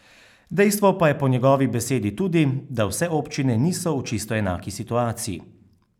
Dejstvo pa je po njegovi beseda tudi, da vse občine niso v čisto enaki situaciji.